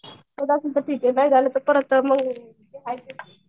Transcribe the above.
होणार असेल तर ठीक आहे नाही झालं तर परत मग जे हाय तेच.